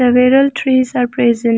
Several trees are present.